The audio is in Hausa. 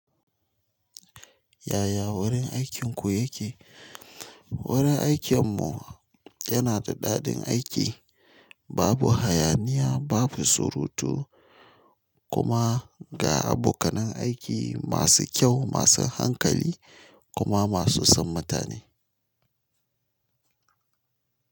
Yaya wurin aikinku yake? Wurin aikin mu yana da daɗin aiki babu hayaniya babu surutu. Kuma ga abokanan aiki masu kyau masu hankali. Kuma masu son mutane.